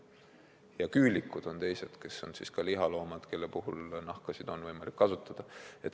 Ja küülikud on teised, kes on lihaloomad, aga kelle nahka on ka võimalik kasutada.